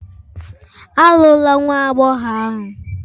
Alụla nwa agbọghọ ahụ!